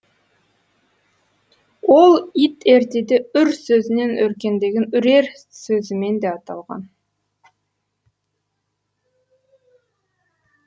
ол ит ертеде үр сөзінен өркендеген үрер сөзімен де аталған